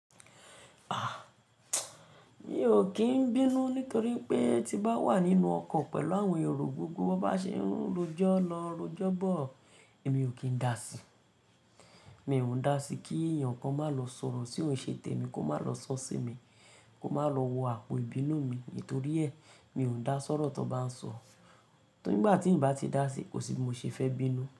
Mi ò kín bínú nítorí pé tí bá wà nínú ọkọ̀ pẹ̀lú àwọn èrò gígùn, wọ́n bá ṣe ń rojọ́ lọ rojọ́ bọ̀, èmi ò kín dáàsí. Mi ò ń dá sí kí èèyàn kan máa lọ sọ̀rọ̀ sí ohun ìṣe tẹ̀ mi, kó má lọ sọ sí mi, kó má lọ wo àpò ìbínú mi nítorí ẹ̀, mi ò ń dá sọ́rọ́ tó bá ń sọ. Nígbà tí ń bá ti dá sí, kò sí mo ṣe fẹ́ bínú.